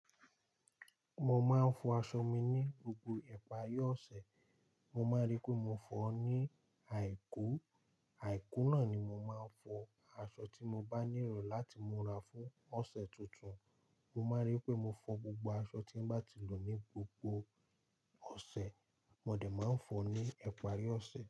Mo máa ń fọ aṣọ mi ní gbogbo ìparí ọ̀sẹ̀. Mo máa rí pé mo fọọ́ ní àìkú, àìkú náà ni mo máa ń fọ aṣọ tí mo bá ní iro láti múra fún ọ̀sẹ̀ tuntun. Mo máa n rí pé mo fọ gbogbo aṣọ tí n bá ti lò ní gbogbo ọ̀sẹ̀. Mo dé máa ń fọ ní ìparí ọ̀sẹ̀.